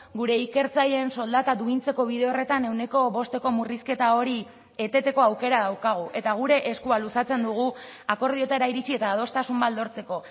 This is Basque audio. gure ikertzaileen soldata duintzeko bide horretan ehuneko bosteko murrizketa hori eteteko aukera daukagu eta gure eskua luzatzen dugu akordioetara iritsi eta adostasun bat lortzeko